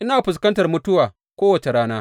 Ina fuskantar mutuwa kowace rana.